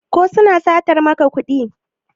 ko suna satar maka kudi?